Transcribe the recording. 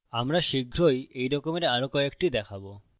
আমরা শীঘ্রই we রকমের আরো কয়েকটি দেখবো